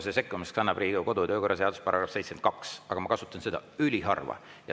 Selle sekkumise võimaluse annab Riigikogu kodu- ja töökorra seaduse § 72, aga ma kasutan seda üliharva.